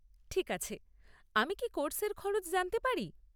ঠিক আছে! আমি কি কোর্সের খরচ জানতে পারি?